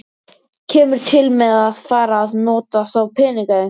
Kemur til með að fara að nota þá peninga eitthvað?